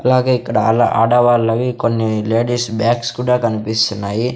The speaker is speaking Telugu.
అలాగే ఇక్కడ ఆలా ఆడవాళ్ళవి కొన్ని లేడీస్ బ్యాగ్స్ కూడా కన్పిస్తున్నాయి .